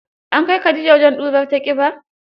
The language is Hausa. An kai Khadija wajen ɗurar ta ƙiba?